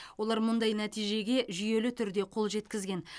олар мұндай нәтижеге жүйелі түрде қол жеткізген